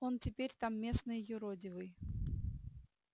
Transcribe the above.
он теперь там местный юродивый